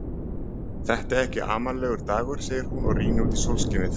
Þetta er ekki amalegur dagur, segir hún og rýnir út í sólskinið.